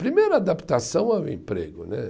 Primeiro, a adaptação ao emprego, né?